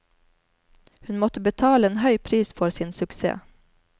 Hun måtte betale en høy pris for sin suksess.